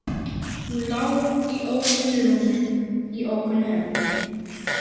Hún lá í ókunnu rúmi, í ókunnu herbergi.